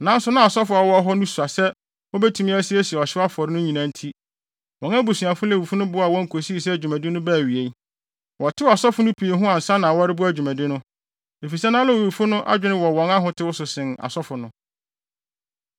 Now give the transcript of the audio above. Nanso na asɔfo a wɔwɔ hɔ no sua sɛ wobetumi asiesie ɔhyew afɔre no nyinaa nti, wɔn abusuafo Lewifo no boaa wɔn kosii sɛ dwumadi no baa awiei. Wɔtew asɔfo no pii ho ansa na wɔreboa dwumadi no, efisɛ na Lewifo no adwene wɔ wɔn ahotew so sen asɔfo no.